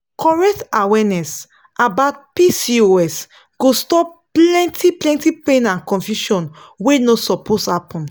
correct awareness about pcos go stop plenty plenty pain and confusion wey no suppose happen.